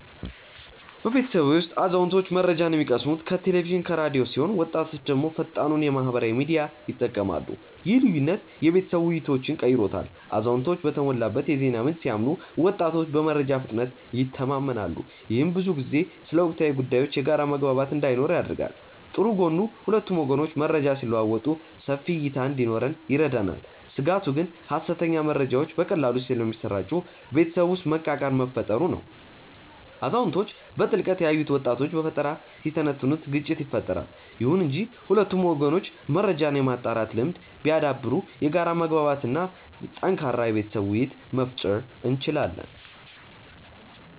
በቤተሰቤ ውስጥ አዛውንቶች መረጃን የሚቀስሙት ከቴሌቪዥንና ከራዲዮ ሲሆን ወጣቶች ደግሞ ፈጣኑን የማህበራዊ ሚዲያ ይጠቀማሉ። ይህ ልዩነት የቤተሰብ ውይይቶችን ቀይሮታል አዛውንቶች በተሞላበት የዜና ምንጭ ሲያምኑ ወጣቶች በመረጃ ፍጥነት ይተማመናሉ። ይህም ብዙ ጊዜ ስለ ወቅታዊ ጉዳዮች የጋራ መግባባት እንዳይኖር ያደርጋል። ጥሩ ጎኑ ሁለቱም ወገኖች መረጃ ሲለዋወጡ ሰፊ እይታ እንዲኖረን ይረዳናል። ስጋቱ ግን ሐሰተኛ መረጃዎች በቀላሉ ስለሚሰራጩ ቤተሰብ ውስጥ መቃቃር መፈጠሩ ነው። አዛውንቶች በጥልቀት ያዩትን ወጣቶች በፈጠራ ሲተነትኑት ግጭት ይፈጠራል። ይሁን እንጂ ሁለቱም ወገኖች መረጃን የማጣራት ልምድ ቢያዳብሩ የጋራ መግባባት እና ጠንካራ የቤተሰብ ውይይት መፍጠር እንችላለን።